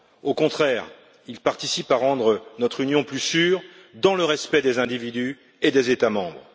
Au contraire, il contribue à rendre notre Union plus sûre, dans le respect des individus et des États membres.